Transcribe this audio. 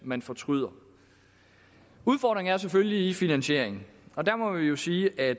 man fortryder udfordringen ligger selvfølgelig i finansieringen og der må vi jo sige at